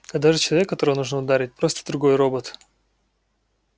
когда же человек которого нужно ударить просто другой робот